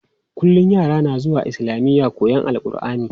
Kullum yara na zuwa islamiya koyon AlƘurʼani.